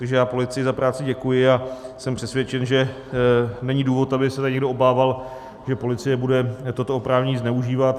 Takže já policii za práci děkuji a jsem přesvědčen, že není důvod, by se tady někdo obával, že policie bude toto oprávnění zneužívat.